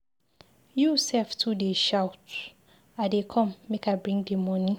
You sef too dey shout, I dey come make I bring the money.